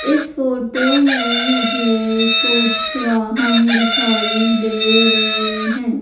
इस फोटो में मुझे कुछ वाहन दिखाई दे रहे हैं।